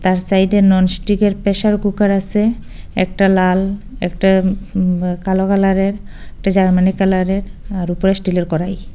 তার সাইডে ননস্টিকের প্রেসার কুকার আসে একটা লাল একটা উ কালো কালারের একটা জার্মানি কালারের আর উপরে স্টিলের করাই।